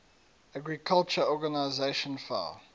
agriculture organization fao